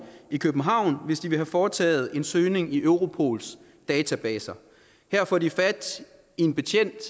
i københavn hvis de vil have foretaget en søgning i europols databaser her får de fat i en betjent